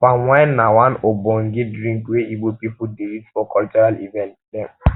palm wine na one ogbonge drink wey ibo pipu dey use for cultural event dem